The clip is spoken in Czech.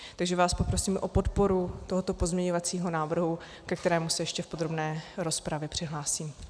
Takže vás prosím o podporu tohoto pozměňovacího návrhu, ke kterému se ještě v podrobné rozpravě přihlásím.